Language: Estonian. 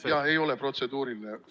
Jah, ei ole protseduuriline.